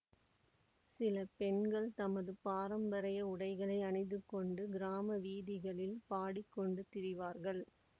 சில பெண்கள் தமது பாரம்பரிய உடைகளை அணிந்து கொண்டு கிராம வீதிகளில் பாடிக் கொண்டு திரிவார்கள்